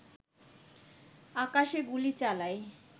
আকাশে গুলি চালায়